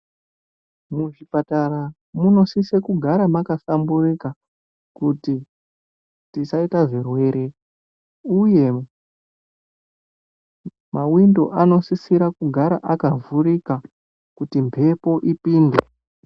Muzvipatara munosise kugara makahlamburuka kuti tisaita zvirwere uye mawindo anosisira kugara akavhurika kuti mhepo ipinde.